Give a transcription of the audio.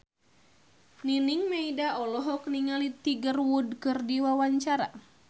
Nining Meida olohok ningali Tiger Wood keur diwawancara